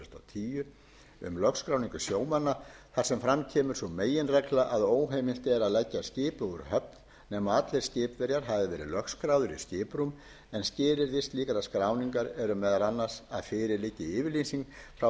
tíu um lögskráningu sjómanna þar sem fram kemur sú meginregla að óheimilt er að leggja skipi úr höfn nema allir skipverjar hafi verið lögskráðir í skiprúm en skilyrði slíkrar skráningar eru meðal annars að fyrir liggi yfirlýsing frá